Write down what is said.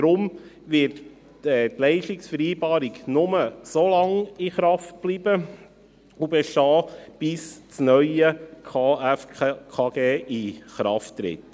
Deshalb wird die Leistungsvereinbarung nur so lange in Kraft bleiben und bestehen, bis das neue KFKG in Kraft tritt.